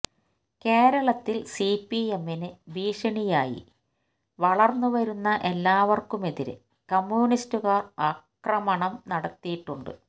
കേരളത്തില് സിപിഎമ്മിന് ഭീഷണിയായി വളര്ന്ന് വരുന്ന എല്ലാവര്ക്കുമെതിരെ കമ്യൂണിസ്റ്റുകാര് അക്രമണം നടത്തിയിട്ടുണ്ട്